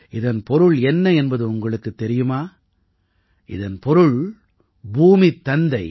இதன் பொருள் என்ன என்பது உங்களுக்குத் தெரியுமா இதன் பொருள் பூமித் தந்தை